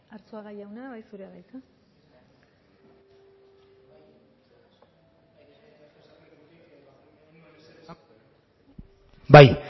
arzuaga jauna bai zurea da hitza bai